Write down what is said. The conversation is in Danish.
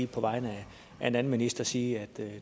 på vegne af en anden minister sige at